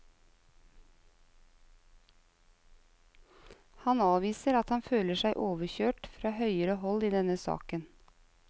Han avviser at han føler seg overkjørt fra høyere hold i denne saken.